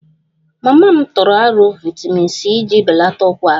Mama m tụrụ aro vitamin c iji belata ukwara m